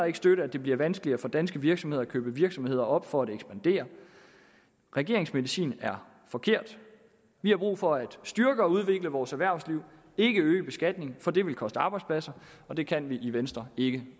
ikke støtte at det bliver vanskeligere for danske virksomheder at købe virksomheder op for at ekspandere regeringens medicin er forkert vi har brug for at styrke og udvikle vores erhvervsliv ikke at øge beskatningen for det vil koste arbejdspladser og det kan vi i venstre ikke